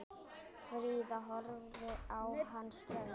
Fríða horfði á hann ströng.